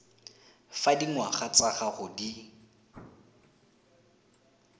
fa dingwaga tsa gago di